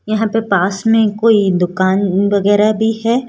यहां पे पास में कोई दुकान वगैरा भी है।